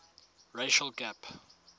racial gap